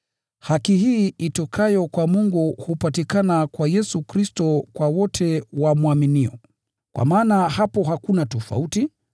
Haki hii itokayo kwa Mungu hupatikana kwa Yesu Kristo kwa wote wamwaminio. Kwa maana hapo hakuna tofauti,